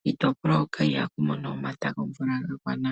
kiitopolwa hoka ihaku mono omata gomvula gagwana.